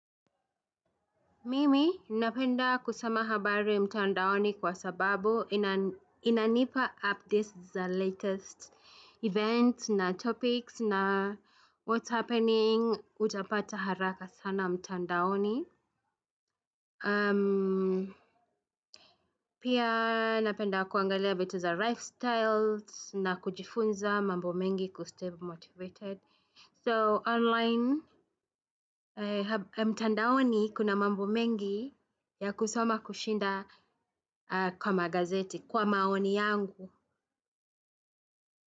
Mimi, napenda kusoma habari mtandaoni kwa sababu inanipa updates za latest event na topics na what's happening utapata haraka sana mtandaoni. Pia napenda kuangalia vitu za lifestyles na kujifunza mambo mengi kustay motivated. So online, mtandaoni kuna mambo mengi ya kusoma kushinda kwa magazeti, kwa maoni yangu.